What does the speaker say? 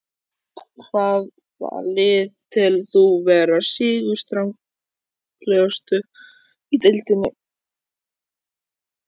Hvaða lið telur þú vera sigurstranglegust í deildinni?